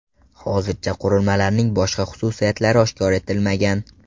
Hozircha qurilmalarning boshqa xususiyatlari oshkor etilmagan.